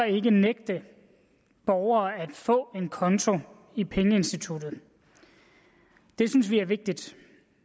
ikke nægte borgere at få en konto i pengeinstituttet det synes vi er vigtigt